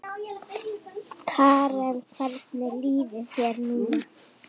Karen: Hvernig líður þér núna?